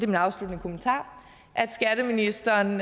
min afsluttende kommentar at skatteministeren